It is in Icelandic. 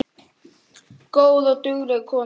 Góð og dugleg kona